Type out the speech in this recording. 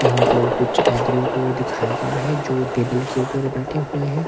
यहां पर कुछ आदमियों को दिखाया गया है जो टेबल के ऊपर बैठे हुए हैं।